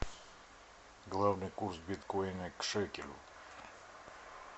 главный курс биткоина к шекелю